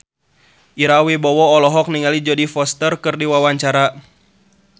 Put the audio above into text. Ira Wibowo olohok ningali Jodie Foster keur diwawancara